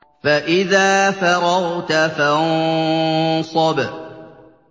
فَإِذَا فَرَغْتَ فَانصَبْ